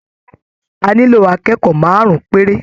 A nílò akẹ́kọ̀ọ́ márùn-ún péré